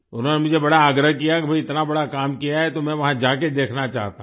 उन्होंने मुझे बड़ा आग्रह किया कि भई इतना बड़ा काम किया है तो मैं वहां जाके देखना चाहता हूँ